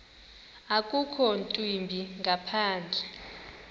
akukho ntwimbi ngaphandle